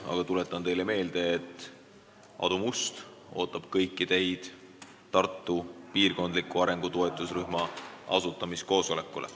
Aga tuletan teile meelde, et Aadu Must ootab teid kõiki Tartu piirkondliku arengu toetusrühma asutamiskoosolekule.